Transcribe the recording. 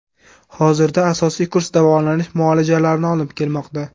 Hozirda asosiy kurs davolanish muolajalarini olib kelmoqda.